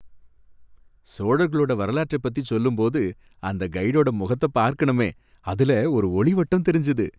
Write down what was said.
சோழர்களோட வரலாற்றை பத்தி சொல்லும் போது அந்த கைடோட முகத்த பார்க்கணுமே, அதுல ஒரு ஒளிவட்டம் தெரிஞ்சது